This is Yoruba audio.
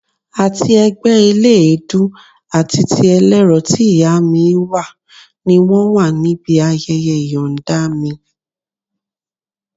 Àti ẹgbẹ́ eléèédú àti ti ẹlẹ́rọ tí ìyá mi wà ni wọ́n wà níbí ayẹyẹ ìyọ̀nda mi